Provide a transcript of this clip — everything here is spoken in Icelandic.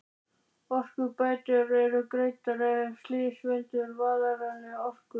Örorkubætur eru greiddar ef slys veldur varanlegri örorku.